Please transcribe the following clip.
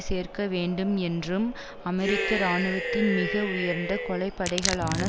சேர்க்க வேண்டும் என்றும் அமெரிக்க இராணுவத்தின் மிக உயர்ந்த கொலைப்படைகளான